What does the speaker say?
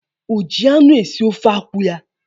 O ji anụ esi ofe akwụ ya?